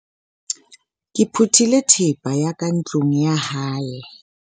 ke phuthile thepa ya ka ntlong ya hae